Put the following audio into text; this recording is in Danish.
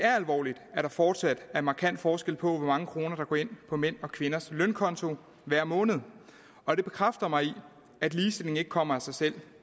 er alvorligt at der fortsat er markant forskel på hvor mange kroner der går ind på mænds og kvinders lønkonto hver måned og det bekræfter mig i at ligestilling ikke kommer af sig selv